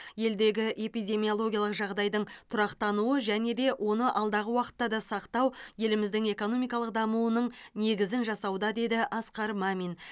елдегі эпидемиологиялық жағдайдың тұрақтануы және де оны алдағы уақытта да сақтау еліміздің экономикалық дамуының негізін жасауда деді асқар мамин